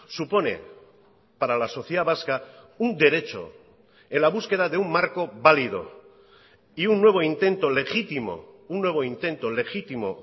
supone para la sociedad vasca un derecho en la búsqueda de un marco válido y un nuevo intento legítimo un nuevo intento legítimo